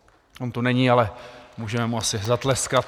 On tu není, ale můžeme mu asi zatleskat.